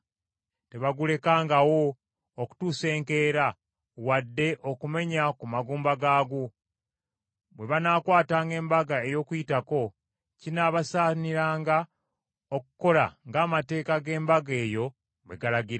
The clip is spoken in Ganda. Tebagulekangawo okutuusa enkeera, wadde okumenya ku magumba gaagwo. Bwe banaakwatanga Embaga ey’Okuyitako kinaabasaaniranga okukola ng’amateeka g’embaga eyo bwe galagira.